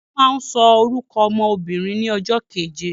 Wọ́n máa ń sọ orúkọ ọmọ obìnrin ní ọjọ́ keje